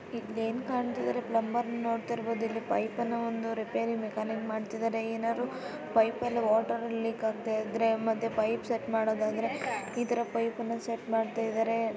ಇಲ್ಲಿ ಏನು ಕಾಣ್ತಾ ಇದ್ದಾರೆ ಪ್ಲಂಬರ್‌ ನೋಡ್ತಾ ಇರಬಹುದು ಪೈಪ್‌ನ್ನ ರಿಪೇರಿ ಮಾಡ್ತಾ ಇದ್ದಾರೆ ಏನಾದರೂ ಪೈಪ್‌ಲ್ಲಿ ನೀರು ಲೀಕ್‌ ಆಗ್ತಾ ಇದ್ದರೆ ಮತ್ತೆ ಪೈಪ್‌ ಸೆಟ್‌ ಮಾಡೋದಾದ್ರೆ ಈ ತರ ಪೈಪನ್ನು ಸೆಟ್‌ ಮಾಡ್ತಾ ಇದ್ದಾರೆ.